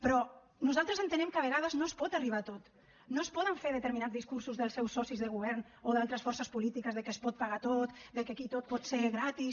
però nosaltres entenem que a vegades no es pot arribar a tot no es poden fer determinats discursos dels seus socis de govern o d’altres forces polítiques de que es pot pagar tot de que aquí tot pot ser gratis